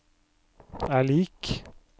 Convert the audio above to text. er lik